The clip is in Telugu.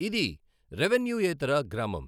ఇది రెెవెన్యూయేతర గ్రామం.